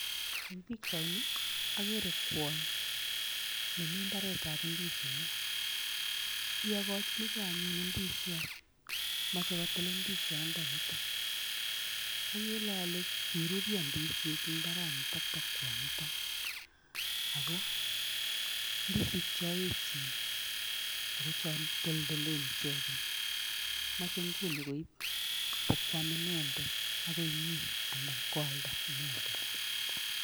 En pichaini ogere kwony nemi mbaretab indisinik, iyogochinge anyun indisiot. Moche kotil indisiondonito. Agere ole kiruryo indisinik en mbaranito bo kwonyito ago indisinik chon eechen ago toldol icheget. Moche nguni koib bo kwam inendet ak konyin anan koalda inendet.